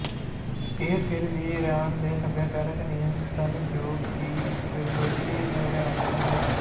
ਇਹ ਫਿਰ ਵੀ ਈਰਾਨ ਦੇ ਸਭਿਆਚਾਰਕ ਨਿਯਮ ਸਨ ਜੋ ਕਿ ਫਿਰਦੋਸੀ ਨੂੰਵਡਿਆਉਣਾ ਚਾਹੁੰਦੇ ਸੀ